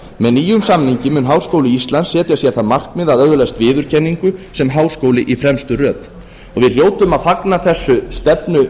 með nýjum samningi mun háskóli íslands setja sér það markmið að öðlast viðurkenningu sem háskóli í fremstu röð við hljótum að fagna þessu stefnumiði